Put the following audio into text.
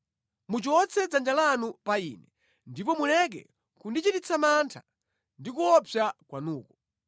Muchotse dzanja lanu pa ine, ndipo muleke kundichititsa mantha ndi kuopsa kwanuko.